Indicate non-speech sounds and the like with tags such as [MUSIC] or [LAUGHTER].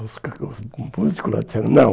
[UNINTELLIGIBLE] Os músicos lá disseram, não.